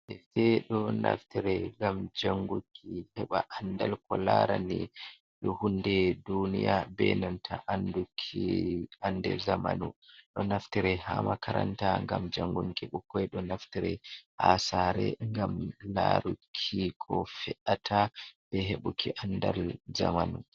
Defte ɗo naftire ngam jannguki heɓa anndal ko laarani hunnde duniya bee nanta annduki annde zamanu, ɗo naftire haa makaranta ngam jannginki ɓikkoi, ɗo naftire haa saare ngam laaruki ko fe''ata be heɓuki anndal zamanu